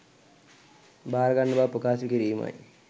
භාරගන්න බව ප්‍රකාශ කිරීමයි